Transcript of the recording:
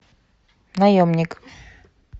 наемник